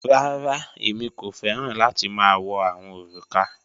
Rárá, èmi kò fẹ̀ran láti ma wọ̀ awọn orúkà.